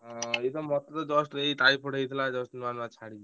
ଆଁ ଏଇ ମତେ ତ just ଏଇ typhoid ହେଇଥିଲା just ନୂଆ ନୂଆ ଛାଡ଼ିଚି।